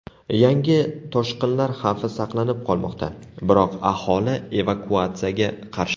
Yangi toshqinlar xavfi saqlanib qolmoqda, biroq aholi evakuatsiyaga qarshi.